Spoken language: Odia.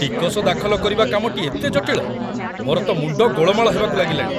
ଟିକସ ଦାଖଲ କରିବା କାମଟି ଏତେ ଜଟିଳ, ମୋର ତ ମୁଣ୍ଡ ଗୋଳମାଳ ହେବାକୁ ଲାଗିଲାଣି!